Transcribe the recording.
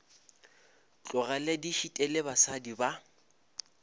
tlogele di šitile basadi ba